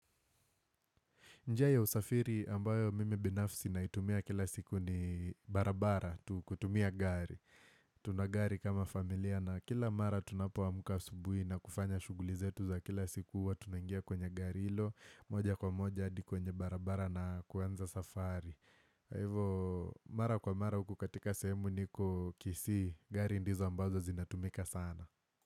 Njia ya usafiri ambayo mimi binafsi na itumia kila siku ni barabara kutumia gari. Tuna gari kama familia na kila mara tunapo amka subuhi na kufanya shuguli zetu za kila siku huwa tunangia kwenye gari ilo. Moja kwa moja hadi kwenye barabara na kuanza safari. Kwa hivo mara kwa mara uku katika sehemu niko Kisii gari ndizo ambazo zinatumika sana.